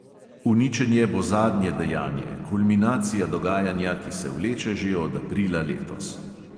Uničenje bo zadnje dejanje, kulminacija dogajanja, ki se vleče že od aprila letos.